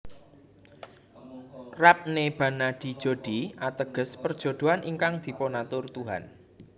Rab Ne Bana Di Jodi ateges Perjodohan ingkang Dipunatur Tuhan